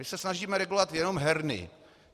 My se snažíme regulovat jenom herny.